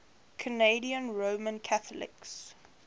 canadian roman catholics